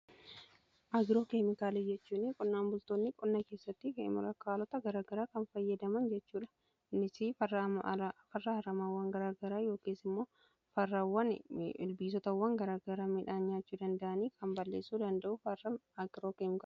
Agiroo keemikaalii jechuun qonnaan bultoonni qonna keessatti keemikaalota garagaraa kan fayyadaman jechuudha. innis farra haramawwan garaagaraa yookiis immoo farraawwan ilbiisotawwan garaagara midhaan nyaachuu danda'anii kan balleessuu danda'u agiroo keemikaala jedhama.